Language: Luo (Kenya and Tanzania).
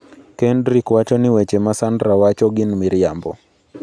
Kendric wacho ni weche ma Sandra wacho gin miriambo.